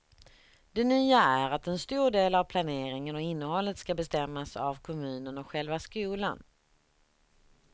Det nya är att en stor del av planeringen och innehållet ska bestämmas av kommunen och själva skolan.